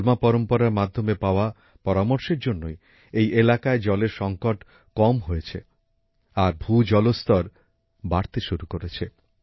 হলমা পরম্পরার মাধ্যমে পাওয়া পরামর্শের জন্যই এই এলাকায় জলের সংকট কম হয়েছে আর মাটির নীচের জলস্তর বাড়তে শুরু করেছে